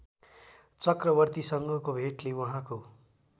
चक्रवर्तीसँगको भेटले उहाँको